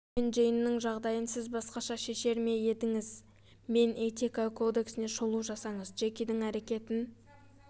джон мен джейннің жағдайын сіз басқаша шешер ме едіңіз мен этика кодексіне шолу жасаңыз джекидің әрекетін